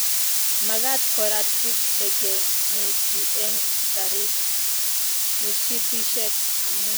magaat korat biik chegemutii eng karit mishipishek amu